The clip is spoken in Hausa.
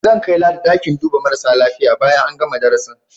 Zan kai Ladi ɗakin duba marasa lafiya bayan an gana darasin.